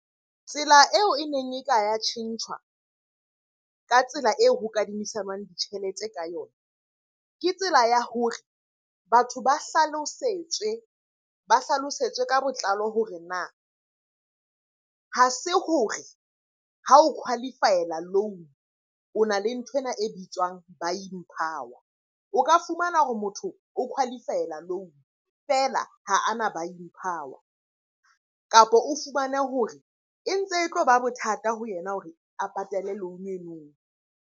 Tsela eo e neng e ka ya tjhentjhwa ka tsela eo ho kadimisanwang ditjhelete ka yona. Ke tsela ya hore batho ba hlalosetswe, ba hlalosetswe ka botlalo hore na ha se hore ha o qualify-ela loan-o o na le nthwena e bitswang buying power. O ka fumana hore motho o qualify-ela loan-o feela ha ana buying power, kapo o fumane hore e ntse e tlo ba bothata ho yena hore a patale loan-o eno.